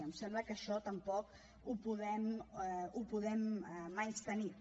em sembla que això tampoc ho podem menystenir